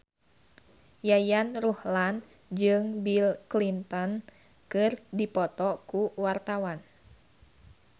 Yayan Ruhlan jeung Bill Clinton keur dipoto ku wartawan